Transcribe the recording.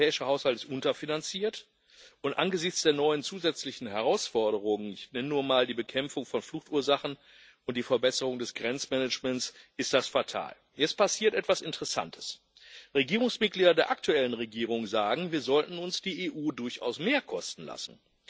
Denn der europäische Haushalt ist unterfinanziert, und angesichts der neuen zusätzlichen Herausforderungen ich nenne nur mal die Bekämpfung von Fluchtursachen und die Verbesserung des Grenzmanagements ist das fatal. Jetzt passiert etwas Interessantes Regierungsmitglieder der aktuellen Regierung sagen, wir sollten uns die EU durchaus mehr kosten lassen.